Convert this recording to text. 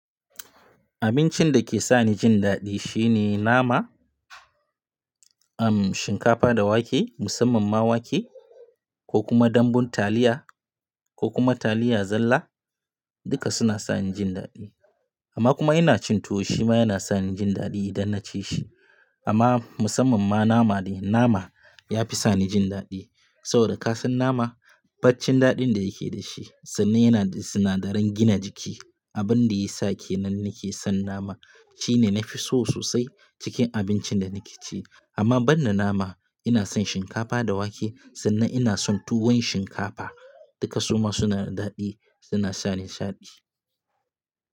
Abincin da ke sa ni jin daɗi shine nama, um shinkafa da wake, musamman ma wake ko kuma dambun taliya ko kuma taliya zalla. Duka suna sa ni jin daɗi amma kuma ina cin tuwo shi ma yana sa ni jin daɗi idan na ci shi. Amma musamman ma nama dai, nama ya fi sa ni jin daɗi saboda kasan nama baccin daɗin da yake da shi sannan yana da sinadaran gina jiki. Abin da ya sa ke nan nake son nama shine nafi so sosai cikin abincin da nake ci. Amma ban da nama ina son shinkafa da wake sannan ina son tuwon shinkafa. Duka suma suna da daɗi suna sa ni nishaɗi.